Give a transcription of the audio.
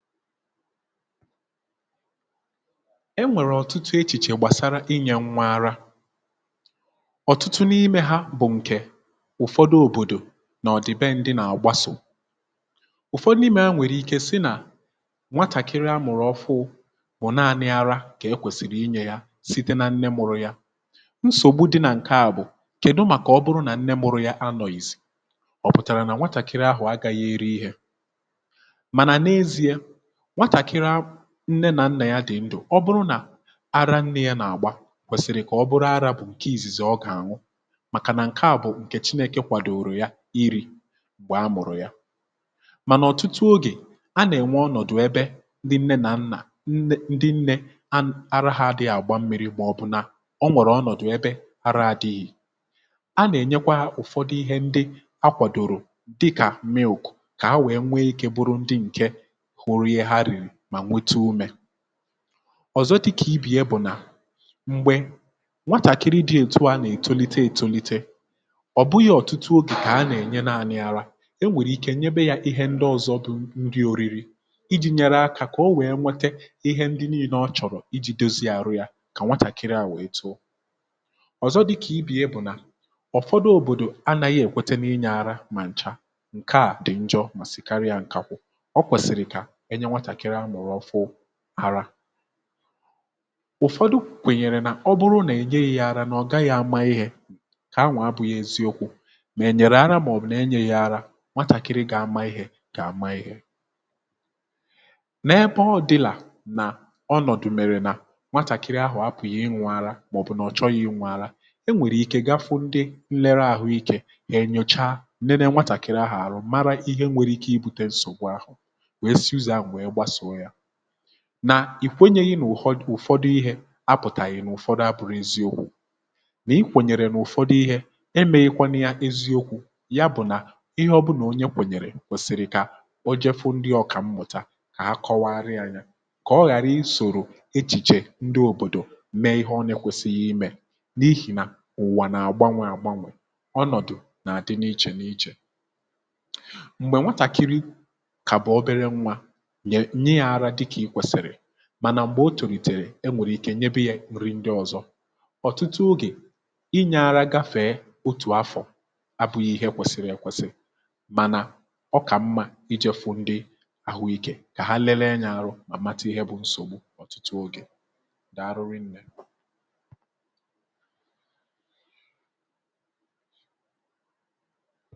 e nwèrè ọ̀tụtụ echìchè gbàsara inyė nwa ara ọ̀tụtụ n’imė ha bụ̀ ǹkè ụ̀fọdụ òbòdò nà ọ̀dị be ǹdị nà-àgbasò ụ̀fọdụ n’imė um a nwèrè ike si nà nwatàkịrị a mụ̀rụ̀ ọfụụ mà naanị ara kà e kwèsìrì inyė ya site nà ǹne mụrụ ya nsògbu di nà ǹke a bụ̀ kèdu màkà ọ bụrụ nà ǹnè mụrụ ya anọ̇izì ọ̀ pụtàrà nà nwatàkịrị ahụ̀ agȧghị eri ihe nwatàkịrị a nne nà nnà ya dị̀ ndụ̀ ọ bụrụ nà ara nnȧ ya nà-àgba kwèsị̀rị̀ kà ọ bụrụ arȧ bụ̀ ǹke ìzìzì ọ gà-àṅụ màkà nà ǹke à bụ̀ ǹkè chinėkè kwàdòrò ya iri̇ gbàa mụ̀rụ̀ ya um mànà ọ̀tụtụ ogè a nà-ènwe ọnọ̀dụ̀ ebe ndị nnė nà nnà nne ndị nnė a ara ha dị àgba mmi̇ri̇ mà ọ̀ bụ̀ nà o nwèrè ọnọ̀dụ̀ ebe ara adịghị̇ a nà-ènyekwa ụ̀fọdụ ihe ndị a kwàdòrò dịkà milk kà ha wèe nwee ike bụrụ ndị ǹkè ọ̀zọ dịkà ibi̇ e bụ̀ nà m̀gbè nwatàkịrị di̇ ètùa nà ètolite ètolite ọ̀ bughi̇ ọ̀tụtụ ogè kà ha nà-ènye naanị yaara e nwèrè ike nnyebe ya ihe ndị ọ̇zọ̇ bụ ndị oriri iji̇ nyere akȧ kà o wèe nwete ihe ndị nii̇nė ọ chọ̀rọ̀ iji̇ dozi àrụ ya um kà nwatàkịrị àwèe too ọ̀zọ dịkà ibi̇ e bụ̀ nà ọ̀fọdụ òbòdò anȧghị èkwete n’inyė arȧ mà ǹcha ǹke à dị̀ njọ mà sì karịa ǹkakwụ ụ̀fọdụ kwènyèrè nà ọ bụrụ nà e nye yȧ arȧ nà ọ gaghị̇ ama ihė kà ha nwà abụ̀ghị eziokwu̇ mà e nyerè ara màọ̀bụ̀ nà enye yȧ ara nwatàkịrị gọ̀ ama ihė gọ̀ ama ihė n’ebe ọ dịlà nà ọnọ̀dụ̀ mèrè nà nwatàkịrị ahụ̀ apụ̀ yi iń̇wȧ ara màọ̀bụ̀ nà ọ̀ chọrọ yi nwȧ ara e nwèrè ike gafu ndị nlere àhụike gà-enyocha nene nwatàkịrị ahụ̀ ara mara ihe nwere ike ibutė nsògbu ahụ̀ um na ì kwenyeghị nà ùhọdụ ihė a pụ̀tàghị̀ n’ụ̀fọdụ abụrụ eziokwu̇ nà i kwènyèrè nà ụ̀fọdụ ihė emė ịkwanụ ya eziokwu̇ ya bụ̀ nà ihe ọbụnà onye kwènyèrè kwèsìrì kà o jefu ndị ọ̀kà mmụ̀ta kà ha kọwarị ànyá kà ọghàrị isòrò echìchè ndị òbòdò mee ihe ọnyekwėsi̇ghị̇ imė n’ihì nà ùwà nà àgbanwe àgbanwe ọnọ̀dụ̀ nà àdị n’ichè n’ichè mànà m̀gbè o tòrìtèrè e nwèrè ike nyebìye nri ndị ọ̀zọ ọ̀tụtụ ogè ị nyàra gàfèe otù afọ̀ àbụghị̇ ihe kwèsị̀rị̀ ị kwèsị̀ mànà ọkà mmȧ iji̇ fụ̀ ndị àhụikė kà ha lelee nyȧ arụ mà matụ ihe bụ̇ nsògbu ọ̀tụtụ ogè um. dị arụrị nnė